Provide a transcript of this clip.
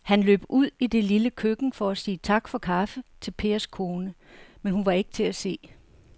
Han løb ud i det lille køkken for at sige tak for kaffe til Pers kone, men hun var ikke til at se.